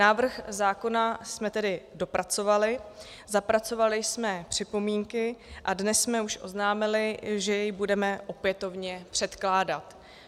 Návrh zákona jsme tedy dopracovali, zapracovali jsme připomínky a dnes jsme už oznámili, že jej budeme opětovně předkládat.